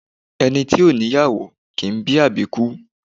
Ẹni ti ò ní ìyàwó, kìí bí àbíkú